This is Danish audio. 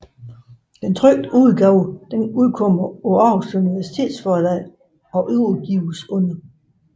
Den trykte udgave udkommer på Aarhus Universitetsforlag og udgives under